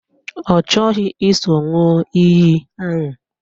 Ọ chọghị iso ṅụọ iyi ahụ